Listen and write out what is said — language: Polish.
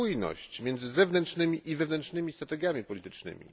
spójność między zewnętrznymi i wewnętrznymi strategiami politycznymi.